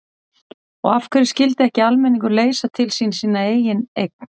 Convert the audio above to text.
Og af hverju skyldi ekki almenningur leysa til sín sína eigin eign?